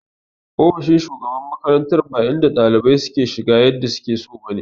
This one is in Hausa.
Ofishin shugaban makarantar ba inda ɗalibai suke shiga yadda suke so ba ne.